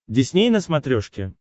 дисней на смотрешке